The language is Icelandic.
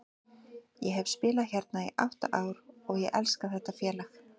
Ég hef spilað hérna í átta ár og ég elska þetta félag.